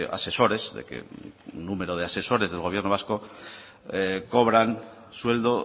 asesores de que un número de asesores del gobierno vasco cobran sueldo